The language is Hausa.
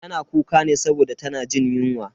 Tana kuka ne saboda tana jin yunwa.